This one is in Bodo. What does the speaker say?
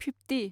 फिफ्टि